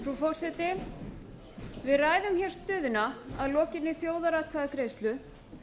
frú forseti við ræðum hér stöðuna að lokinni þjóðaratkvæðagreiðslu